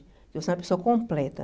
Que você é uma pessoa completa.